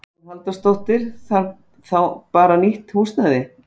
Hugrún Halldórsdóttir: Þarf þá bara nýtt húsnæði?